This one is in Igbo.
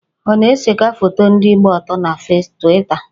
Ọ na-ekesa foto ndị gba ọtọ na Twita?